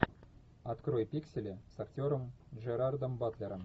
открой пиксели с актером джерардом батлером